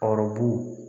Arobu